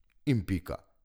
In pika.